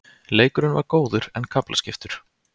Leikurinn var góður en kaflaskiptur.